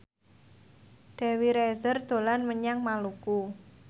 Dewi Rezer dolan menyang Maluku